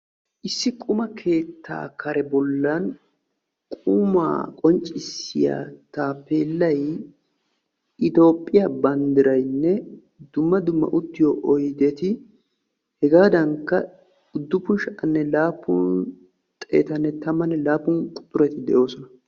Issi quma keettaa kare bollan qumaa qonccisiyaa taapeellay itoophphiyaa banddirayinne dumma dumma uttiyoo oydeti hegaadankka uduppun sha"anne laappun xeettane tammanne laappun quxureti de'oosona.